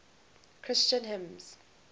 christian hymns